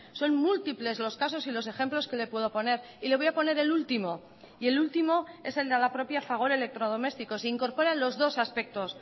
son múltiples los casos y los ejemplos que le puedo poner y le voy a poner el último y el último es el de la propia fagor electrodomésticos se incorporan los dos aspectos